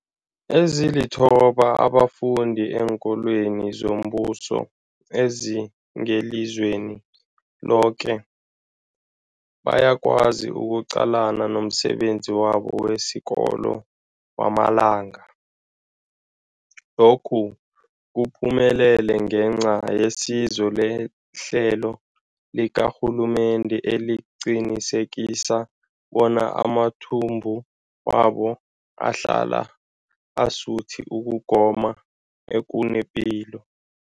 Ezilithoba abafunda eenkolweni zombuso ezingelizweni loke bayakwazi ukuqalana nomsebenzi wabo wesikolo wangamalanga. Lokhu kuphumelele ngenca yesizo lehlelo likarhulumende eliqinisekisa bona amathumbu wabo ahlala asuthi ukugoma okunepilo.